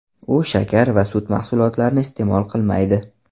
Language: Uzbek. U shakar va sut mahsulotlarini iste’mol qilmaydi.